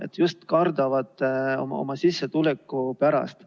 Nad just nimelt kardavad oma sissetuleku pärast.